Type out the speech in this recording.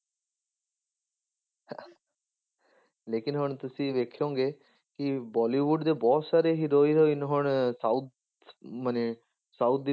ਲੇਕਿੰਨ ਹੁਣ ਤੁਸੀਂ ਵੇਖੋਂਗੇ ਕਿ ਬੋਲੀਵੁਡ ਦੇ ਬਹੁਤ ਸਾਰੇ heroin ਹੁਣ south ਮਨੇ south ਦੀ